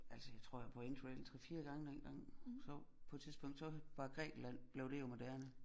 Altså jeg tror jeg var på interrail 3 4 gange dengang så på et tidpsunkt var Grækenland blev det jo moderne